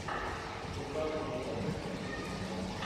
ньюкасл юнайтед против арсенал